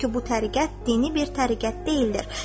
Çünki bu təriqət dini bir təriqət deyildir.